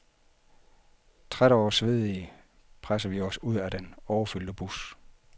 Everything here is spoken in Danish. Trætte og svedige presser vi os ud af den overfyldte bus.